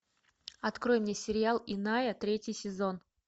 открой мне сериал иная третий сезон